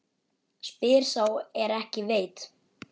Spyr sá er ekki veit?